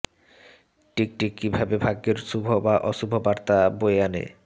টিকটিকি কী ভাবে ভাগ্যের শুভ বা অশুভ বার্তা বয়ে আনে